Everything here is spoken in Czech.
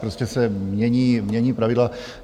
Prostě se mění pravidla.